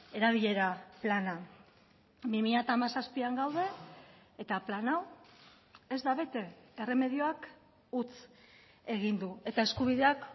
erabilera plana bi mila hamazazpian gaude eta plan hau ez da bete erremedioak huts egin du eta eskubideak